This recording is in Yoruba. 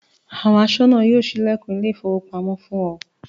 Àwọn aṣọ́nà yóò ṣí ilẹ̀kùn ilé-ìfowópamọ́sí fún ọ.